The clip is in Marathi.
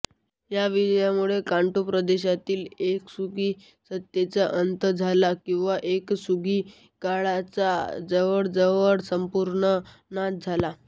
या विजयामुळे कांटो प्रदेशातील उएसुगी सत्तेचा अंत झाला आणि उएसुगी कुळाचा जवळजवळ संपूर्ण नाश झाला